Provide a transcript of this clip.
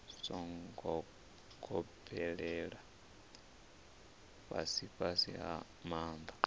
songo gobelela fhasifhasi nga maanḓa